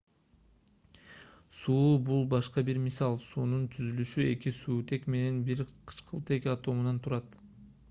суу бул башка бир мисал суунун түзүлүшү эки суутек менен бир кычкылтек атомунан турат